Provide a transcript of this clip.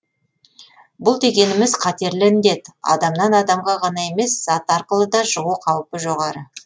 бұл дегеніміз қатерлі індет адамнан адамға ғана емес зат арқылы да жұғу қаупі жоғары